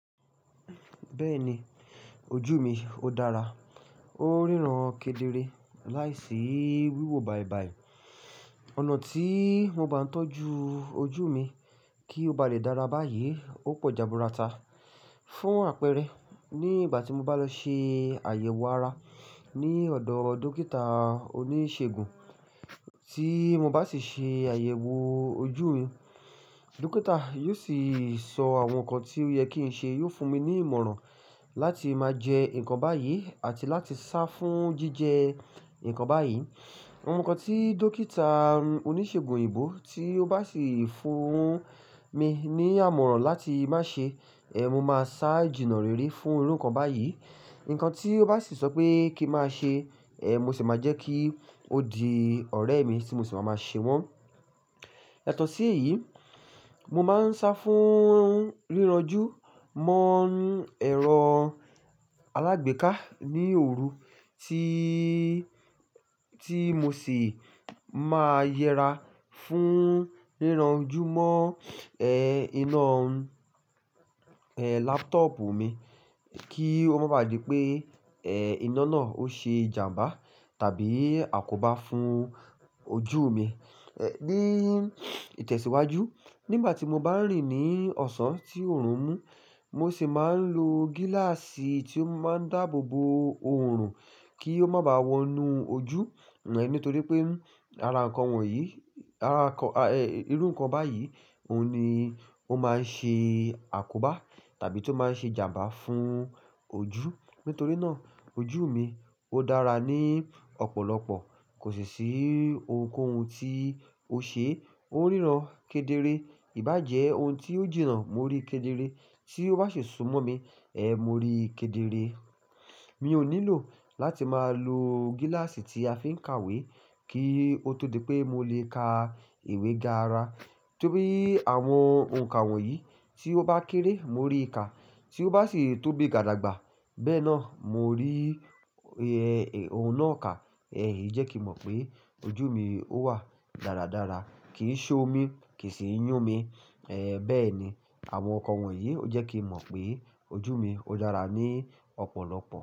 Bẹ́ẹ̀ ni ojú mi ó dára, ó ríran kedere láìsí wíwo bàìbàì. Ọ̀nà tí mo bá ń tọ́jú ojú mi kí ó ba lè dára báyìí ó pọ̀ jaburata. Fún àpẹẹrẹ, nígbà tí mo bá lọ ṣe àyẹ̀wò ara ní ọ̀dọ̀ dókítà oníṣègùn tí mo bá sì ṣe àyẹ̀wò ojú mi, dókítà yóò sì sọ àwọn nǹkan tí ó yẹ kí n ṣe, yóò fún mi ní ìmọ̀ràn láti máa jẹ nǹkan báyìí àti láti sá fún jíjẹ nǹkan báyìí. Àwọn nǹkan tí dókítà oníṣègùn òyìnbó tí ó bá sì fún mi ní ìmọ̀ràn láti má ṣe, eh, mo máa sá jìnà rere fún irú nǹkan báyìí. Nǹkan tí ó bá sì sọ pé kí máa ṣe, eh, mo sì máa jẹ́ kí ó di ọ̀rẹ́ mi tí mo sì máa ṣe wọ́n. Yàtò sí èyí, mo máa ń sá fún ríranjú mọ́ ẹ̀rọ alágbèéká ní òru tíí, tí mo sì máa yẹra fún ríranjú mọ́, ẹ́, iná, ẹ́, laptop mi kí ó má ba à di pé, ẹ́, iná náà ó ṣe ìjàmbá tàbí àkóbá fún ojú mi. Ẹ̀, ní ìtẹ̀síwájú nígbà tí mo bá ń rìn ní ọ̀sán tí òòrùn mú, mo sì máa ń lo gíláàsì tí ó máa ń dáàbò bo òòrùn kí ó má bá wọnú ojú. Ẹ̀, nítorí pé ara nǹkan wọ̀nyí, ara nǹkan, ẹ́, irú nǹkan báyìí òun ni ó máa ń ṣe àkóbá tàbí tó máa ń ṣe ìjàmbá fún ojú. Nítorí náà ojú mi ó dára ní ọ̀pọ̀lọpọ̀. Kò sì sí ohunkóhun tí ó ṣe, ó ń ríran kedere. Ìbá jẹ́ ohun tí ó jìnnà mo rí kedere, tí ó bá sì súnmọ́ mi, eh, mo rí kedere. Mi ò nílò láti máa lo gíláàsì tí a fi ń ka ìwé kí ó tó di pé mo lè ka ìwé dára. Tóbí àwọn ohun kan wọ̀nyí tí ó bá kéré mo rí ka, tí ó bá sì tóbi gádagbà bẹ́ẹ̀ náà mo rí, ẹ́, ohun náà ka. Ẹ̀, ìjẹ́kì mọ̀ pé ojú mi ó wà dáradára. Kìí ṣo mi, kì í sì yún mi. Ẹ̀, bẹ́ẹ̀ni àwọn nǹkan wọ̀nyí ó jẹ́ kí n mọ̀ pé ojú mi ó dára ní ọ̀pọ̀lọpọ̀.